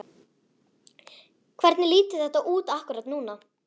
Hvernig lítur þetta út akkúrat núna?